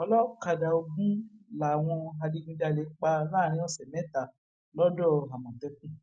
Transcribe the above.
ọlọkadà ogún làwọn adigunjalè pa láàrin ọsẹ mẹta lọdọamòtẹkùn